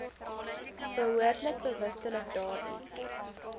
behoort bewustelik daardie